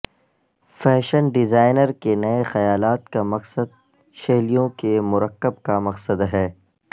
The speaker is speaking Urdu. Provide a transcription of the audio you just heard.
فیشن ڈیزائنر کے نئے خیالات کا مقصد شیلیوں کے مرکب کا مقصد ہے